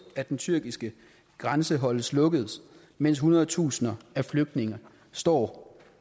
at den tyrkiske grænse holdes lukket mens hundredtusinde af flygtninge står